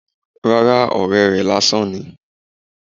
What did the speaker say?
rárá, ọrẹ rè lasán ní